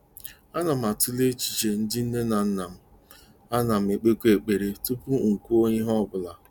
Ana m atụle echiche ndị nne na nna m, a nam-ekpekwa ekpere tupu m kwuo ihe ọ bụla.